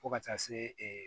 Fo ka taa se ee